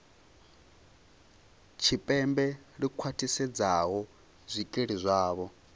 tshipembe ḽi khwaṱhisedzaho zwikili zwavho